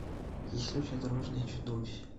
есть ли у тебя дорожные чудовища